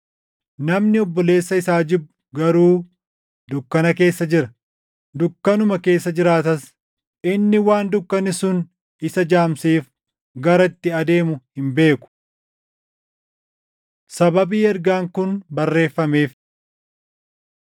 Namni obboleessa isaa jibbu garuu dukkana keessa jira; dukkanuma keessa jiraatas; inni waan dukkanni sun isa jaamseef gara itti adeemu hin beeku. Sababii Ergaan Kun Barreeffameef